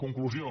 conclusió